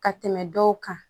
Ka tɛmɛ dɔw kan